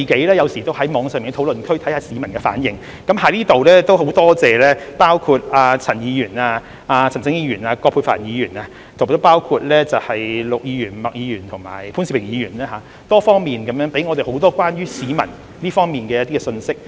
我有時候也會在網上的討論區觀察市民的反應，在此很感謝陳議員、陳振英議員、葛珮帆議員、陸議員、麥議員及潘兆平議員給予我們多方面關於市民的信息。